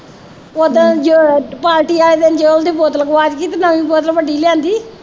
ਓਦਾਂ ਜੇ ਪਾਰਟੀ ਵਾਲੇ ਦਿਨ ਜੋਤ ਦੀ ਬੋਤਲ ਗਵਾਚ ਗਈ ਤੇ ਨਵੀਂ ਬੋਤਲ ਵੱਡੀ ਲਿਆਂਦੀ